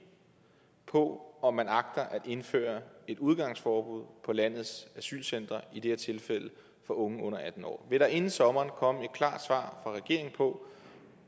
på om man agter at indføre et udgangsforbud på landets asylcentre i det her tilfælde for unge under atten år vil der inden sommer komme et klart svar fra regeringen på